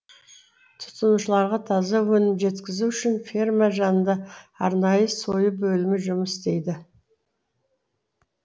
тұтынушыларға таза өнім жеткізу үшін ферма жанында арнайы сою бөлімі жұмыс істейді